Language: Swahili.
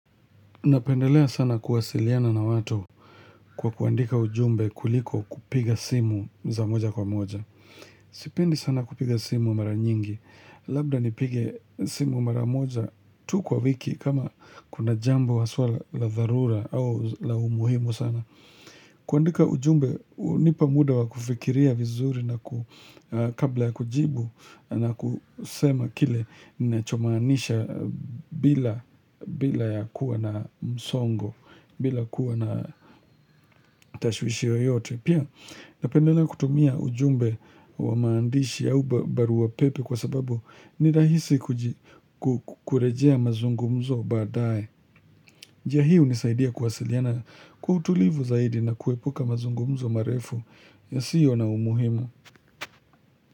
Napendelea sana kuwasiliana na watu kwa kuandika ujumbe kuliko kupiga simu za moja kwa moja. Sipendi sana kupiga simu mara nyingi. Labda nipige simu mara moja tu kwa wiki kama kuna jambo haswa la dharura au la umuhimu sana. Kuandika ujumbe hunipa muda wa kufikiria vizuri na kabla ya kujibu na kusema kile ninachomaanisha bila ya kuwa na msongo. Bila kuwa na tashwishwi yoyote. Pia napendelea kutumia ujumbe wa maandishi au barua pepe kwa sababu ni rahisi kurejea mazungumzo baadae njia hii hunisaidia kuwasiliana kwa utulivu zaidi na kuepuka mazungumzo marefu yasiyo na umuhimu.